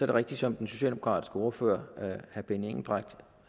er rigtigt som den socialdemokratiske ordfører herre benny engelbrecht